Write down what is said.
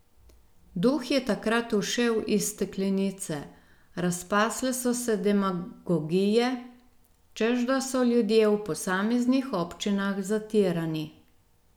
Duh je takrat ušel iz steklenice, razpasle so se demagogije, češ da so ljudje v posameznih občinah zatirani.